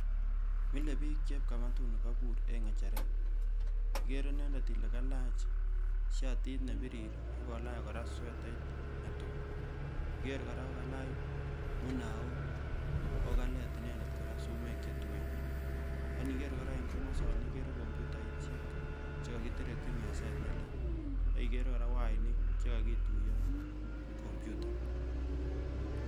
Milebiik chepkamatuni kabur en ngecheret, ikeree inendet ilee Kalach shatit nebirir akolach korak swetait netui ,niker korak kokalach munaok akokalet inendet korak sumeek chetuen, ak indiker korak komoson ikeree komputaishek chekakiterekyi meset nelel, akikeree korak wainik chekokituyoen kompyuta.